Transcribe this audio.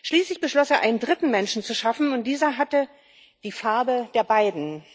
Schließlich beschloss er, einen dritten Menschen zu schaffen, und dieser hatte die Farbe der beiden.